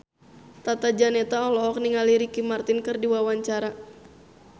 Tata Janeta olohok ningali Ricky Martin keur diwawancara